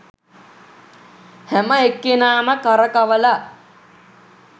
හැම එක්කෙනාම කරකවල